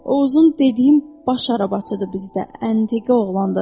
O uzun dediyim baş arabacıdır bizdə, əndiqə oğlandır.